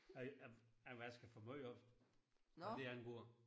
Jeg jeg jeg vasker for meget op hvad det angår